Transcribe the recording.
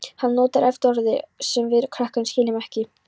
Hann notar oft orð sem við krakkarnir skiljum ekki.